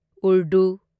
Urdu